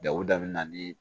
Dawudabana ni